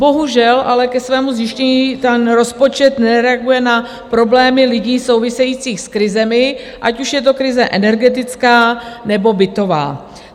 Bohužel ale ke svému (?) zjištění ten rozpočet nereaguje na problémy lidí související s krizemi, ať už je to krize energetická, nebo bytová.